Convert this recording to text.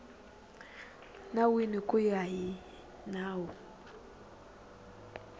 nawini ku ya hi nawu